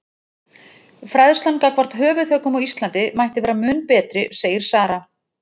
Fræðslan gagnvart höfuðhöggum á Íslandi mætti vera mun betri segir Sara.